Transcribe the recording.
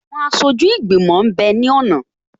Àwọn aṣojú ìgbìmọ̀ m bẹ ní ọ̀nà